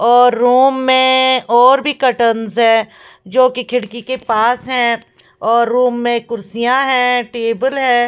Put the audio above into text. और रूम में और भी कर्टनस है जोकि खिड़की के पास हैं और रूम में कुर्सियाँ हैं टेबल हैं।